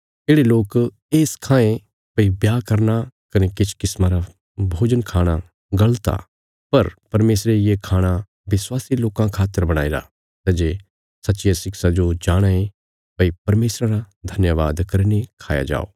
येढ़े लोक ये सखायें भई ब्याह करना कने किछ किस्मा रा भोजन खाणा गल़त आ पर परमेशरे ये खाणा विश्वासी लोकां खातर बणाईरा सै जे सच्चिया शिक्षा जो जाणाँ ये भई परमेशरा रा धन्यवाद करीने खाया जाओ